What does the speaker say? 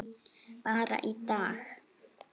Bara í dag.